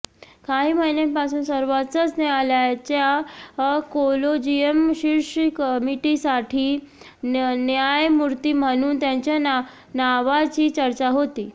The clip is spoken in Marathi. काही महिन्यांपासून सर्वोच्च न्यायालयाच्या कोलेजियम शीर्ष कमिटीसाठी न्यायमूर्ती म्हणून त्यांच्या नावाची चर्चा होती